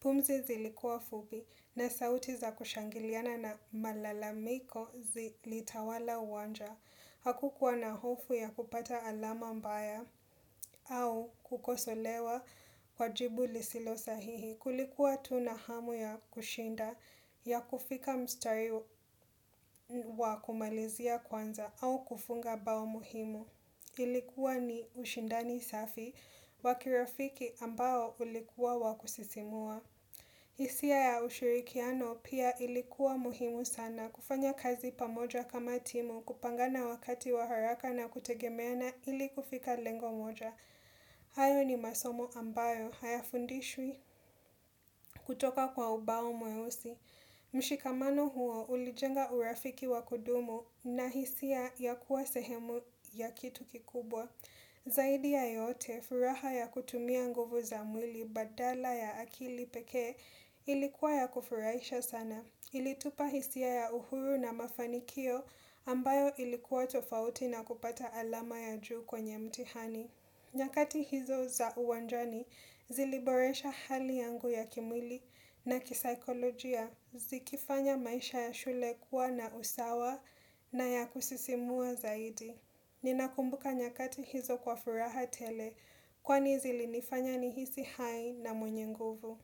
pumzi zilikuwa fupi na sauti za kushangiliana na malalamiko zilitawala uwanja. Hakukuwa na hofu ya kupata alama mbaya au kukosolewa kwa jibu lisilo sahihi. Kulikuwa tu na hamu ya kushinda ya kufika mstari wa kumalizia kwanza au kufunga bao muhimu. Ilikuwa ni ushindani safi wa kirafiki ambao ulikuwa wa kusisimua. Hisia ya ushirikiano pia ilikuwa muhimu sana kufanya kazi pamoja kama timu kupangana wakati wa haraka na kutegemeana ili kufika lengo moja. Hayo ni masomo ambayo hayafundishwi kutoka kwa ubao mweusi. Mshikamano huo ulijenga urafiki wa kudumu na hisia ya kuwa sehemu ya kitu kikubwa. Zaidi ya yote, furaha ya kutumia nguvu za mwili badala ya akili pekee ilikuwa ya kufurahisha sana. Ilitupa hisia ya uhuru na mafanikio ambayo ilikuwa tofauti na kupata alama ya juu kwenye mtihani. Nyakati hizo za uwanjani ziliboresha hali yangu ya kimwili na kisikolojia zikifanya maisha ya shule kuwa na usawa na ya kusisimua zaidi. Ninakumbuka nyakati hizo kwa furaha tele kwani zilinifanya nihisi hai na mwenye nguvu.